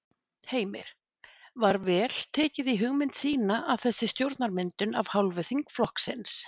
Heimir: Var vel tekið í hugmynd þína að þessari stjórnarmyndun af hálfu þingflokksins?